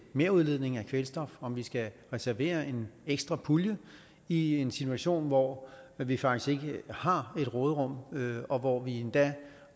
merudledning af kvælstof om vi skal reservere en ekstra pulje i en situation hvor vi faktisk ikke har et råderum og hvor vi endda